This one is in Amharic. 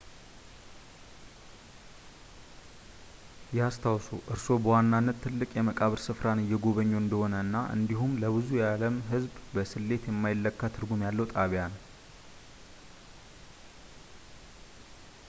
ያስታውሱ እርስዎ በዋናነት ትልቅ የመቃብር ሥፍራን እየጎበኙ እንደሆነ እና እንዲሁም ለብዙ የዓለም ህዝብ በስሌት የማይለካ ትርጉም ያለው ጣቢያ ነው